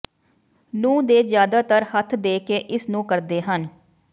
ਨੂੰ ਦੇ ਜ਼ਿਆਦਾਤਰ ਹੱਥ ਦੇ ਕੇ ਇਸ ਨੂੰ ਕਰਦੇ ਹਨ